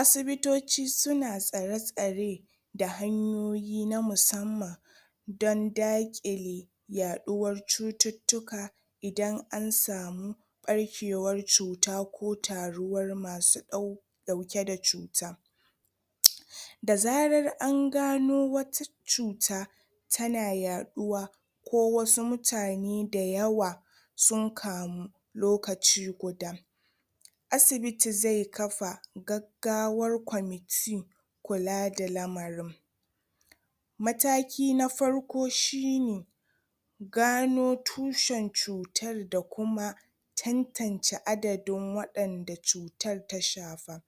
asibitoci suna tsare tsare da hanyoyi na musamman dan dakile yaɗuwar cututtuka idan an samu ɓarkewan cuta ko taruwar masu ɗau ɗaukeda cuta da zarar an gano wata cuta tana yaɗuwa ko wasu mutane dayawa sun kamu lokaci guda asibiti zai kafa gaggawar commitee kulada lamari mataki na farko shine gano tushan cutar da kuma tantance aɗaɗin wadanda cutar tashafa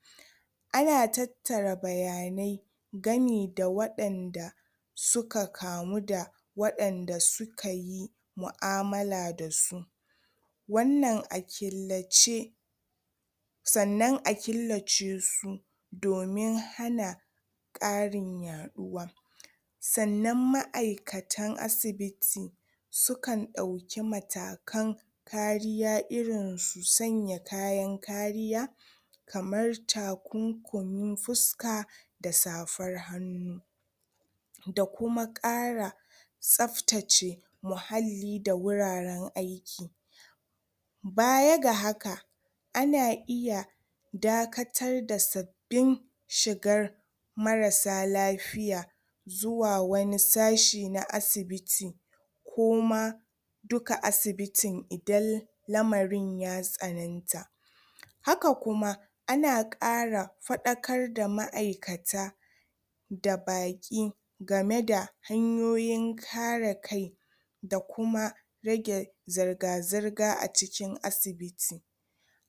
ana tattara bayanai gani da wadanda suka kamu da wadanda sukayi mu'amala dasu wannan a killace sa'anan a killacesu domin hana ƙarin yaɗuwa sa'anan ma'aikatan asibiti sukan ɗauki matakan ƙariya irin su sanya kayan ƙariya kamar takunkumin fuska da safar hannu da kuma ƙara tsaftace muhalli da wuraren aiki baya ga haka ana iya dakatarda sabbin shigar marasa lafiya zuwa wani sashi na asibiti kuu ma duka asibitin idan lamarin ya tsananta haka kuma ana kara fadakar da ma'aikata da baki gameda hanyoyin karakai da kuma rage zarga zarga acikin asibiti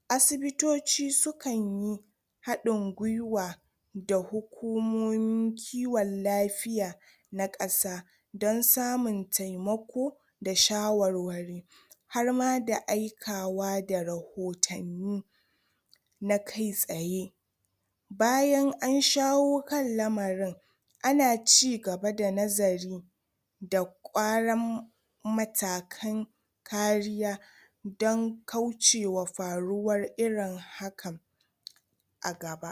asibitoci sukanyi haɗin gwiwa da hukumomin kiwon lafiya na kasa dan samun taimako da shawarwari harma da aikawa da rahotanni na kai tsaye bayan an shawo kan lamarin ana cigaba da nazari da kwaran matakan kariya dan kaucewa faruwar irin haka agaba